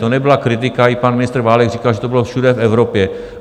To nebyla kritika, i pan ministr Válek říkal, že to bylo všude v Evropě.